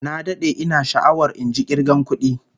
Na dade ina sha'awar injin kirga kudin